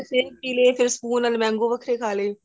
shake ਪੀਲੇ ਫ਼ੇਰ school ਨਾਲ mango ਵੱਖਰੇ ਖਾਲੇ